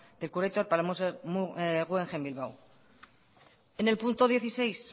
de para el museo guggenheim bilbao en el punto dieciséis